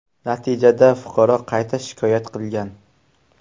Natijada fuqaro qayta shikoyat qilgan.